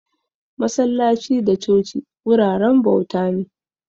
Masallaci da coci wuraren bauta ne